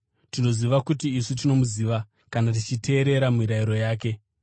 Tinoziva kuti isu tinomuziva kana tichiteerera mirayiro yake.